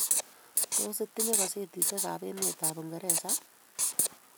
Tos, itinye kasetishekab emetab Uingereza?